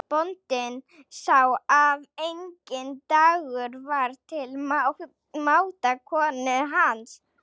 Bóndinn sá að enginn dagur var til máta konu hans.